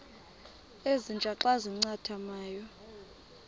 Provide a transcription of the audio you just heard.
ezintia xa zincathamayo